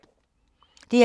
DR2